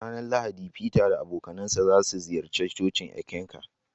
A ranar Lahadi, feter da abokansa za su ziyarci cocin Eckankar.